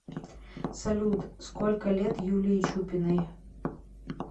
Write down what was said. салют сколько лет юлии чупиной